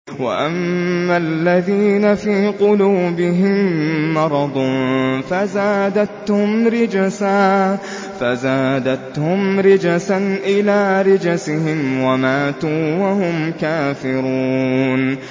وَأَمَّا الَّذِينَ فِي قُلُوبِهِم مَّرَضٌ فَزَادَتْهُمْ رِجْسًا إِلَىٰ رِجْسِهِمْ وَمَاتُوا وَهُمْ كَافِرُونَ